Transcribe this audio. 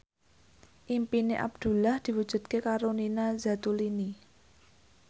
impine Abdullah diwujudke karo Nina Zatulini